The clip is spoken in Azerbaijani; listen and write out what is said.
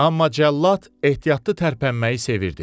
Amma cəllad ehtiyatlı tərpənməyi sevirdi.